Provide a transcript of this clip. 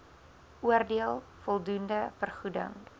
oordeel voldoende vergoeding